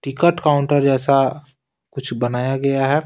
Ticket counter जैसा कुछ बनाया गया है।